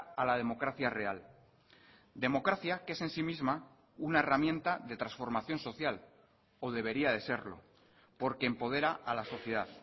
a la democracia real democracia que es en si misma una herramienta de transformación social o debería de serlo porque empodera a la sociedad